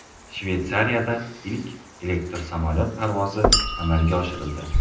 Shveysariyada ilk elektr samolyot parvozi amalga oshirildi.